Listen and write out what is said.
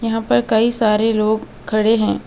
यहां पर कई सारे लोग खड़े हैं.